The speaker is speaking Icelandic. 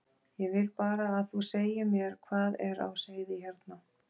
Ég vil bara að þú segir mér hvað er á seyði hérna.